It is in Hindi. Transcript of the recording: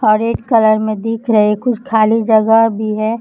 और एक कलर मे दिख रहे कुछ खाली जगह भी है।